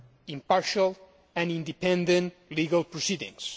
impartial and independent legal proceedings.